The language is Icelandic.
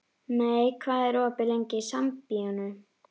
Mey, hvað er opið lengi í Sambíóunum?